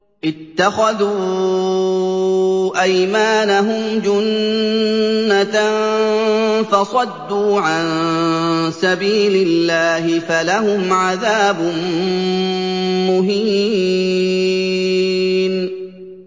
اتَّخَذُوا أَيْمَانَهُمْ جُنَّةً فَصَدُّوا عَن سَبِيلِ اللَّهِ فَلَهُمْ عَذَابٌ مُّهِينٌ